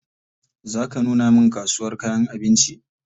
Za ka nuna min kasuwar kayan abinci?